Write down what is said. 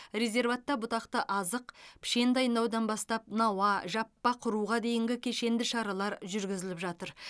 резерватта бұтақты азық пішен дайындаудан бастап науа жаппа құруға дейінгі кешенді шаралар жүргізіліп жатыр